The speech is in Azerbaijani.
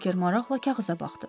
Berker maraqla kağıza baxdı.